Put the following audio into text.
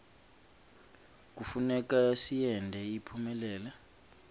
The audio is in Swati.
kufuneka siyente iphumelele